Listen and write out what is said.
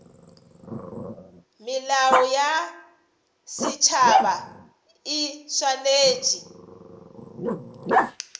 melao ya setšhaba e swanetše